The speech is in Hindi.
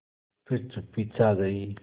फिर चुप्पी छा गई